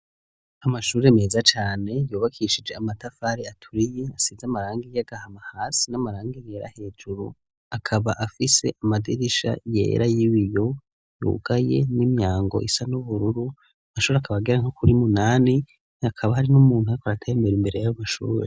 Amashure meza cane yubakishije amatafari aturiye asize amarangi y'agahama hasi n'amarang yera hejuru, akaba hafise amadirisha yera y'ibiyo yugaye n'imyango isa n'ubururu amashure akaba agera nko kuri munani hakaba hari n'umuntu ariko aratayembera imbere y'amashure.